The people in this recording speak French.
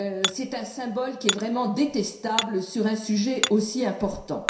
C'est là un symbole qui est vraiment détestable sur un sujet aussi important.